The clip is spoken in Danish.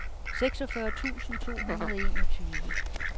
seksogfyrre tusind to hundrede og enogtyve